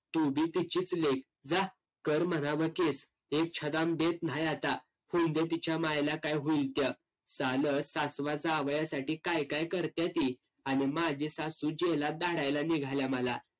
तू बी तिचीच लेक. जा कर म्हणाव case. एक छदाम देत न्हाय आता. होऊंदे तिच्या मायला काय होईल ते. सासवाचा काय काय करत्याती, आणि माझी सासू जेलात धाडायला निघाल्या मला.